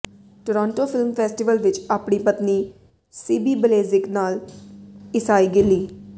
Toronto film festival ਵਿਚ ਆਪਣੀ ਪਤਨੀ ਸਿਬੀ ਬਲੇਜ਼ਿਕ ਨਾਲ ਈਸਾਈ ਗਿੱਲੀ